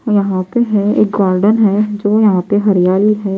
यहां पे है एक गार्डन है जो यहां पे हरियाली है.